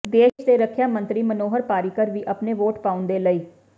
ਦੇਸ਼ ਦੇ ਰੱੱਖਿਆ ਮੰਤਰੀ ਮਨੋਹਰ ਪਾਰੀਕਰ ਵੀ ਆਪਣੀ ਵੋਟ ਪਾਉਣ ਦੇ ਲਈ